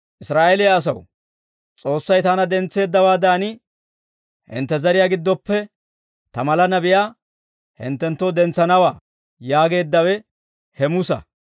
«Israa'eeliyaa asaw, ‹S'oossay taana dentseeddawaadan, hintte zariyaa giddoppe ta mala nabiyaa hinttenttoo dentsanawaa› yaageeddawe he Musa.